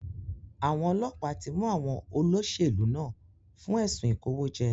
Àwọn ọlọ́pàá tí mú àwọn olóṣèlú náà fún ẹ̀sùn ìkòwójẹ́.